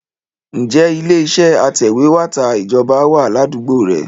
Ǹjẹ́ ilé iṣẹ́ atẹ̀wẹ́tà Ìjọba wà ládùúgbò rẹ?